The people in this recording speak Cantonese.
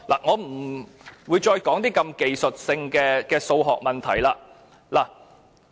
我不再談如此技術性的數學問題。